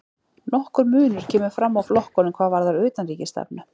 Nokkur munur kemur fram á flokkunum hvað varðar utanríkisstefnu.